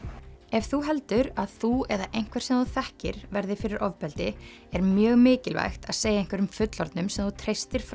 ef þú heldur að þú eða einhver sem þú þekkir verði fyrir ofbeldi er mjög mikilvægt að segja einhverjum fullorðnum sem þú treystir frá